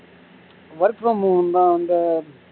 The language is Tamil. work from home தான் வந்து